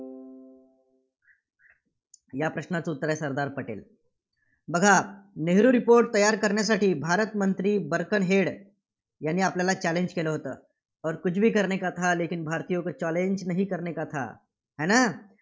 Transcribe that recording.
या प्रश्नाचं उत्तर आहे, सरदार पटेल. बघा नेहरू report तयार करण्यासाठी भारतमंत्री बर्कन हेड यांनी आपल्याला challenge केलं होतं. challenge